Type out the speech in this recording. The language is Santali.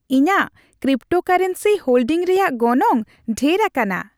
ᱤᱧᱟᱹᱜ ᱠᱨᱤᱯᱴᱳᱨᱠᱳᱭᱮᱱᱥᱤ ᱦᱳᱞᱰᱤᱝ ᱨᱮᱭᱟᱜ ᱜᱚᱱᱚᱝ ᱰᱷᱮᱨ ᱟᱠᱟᱱᱟ ᱾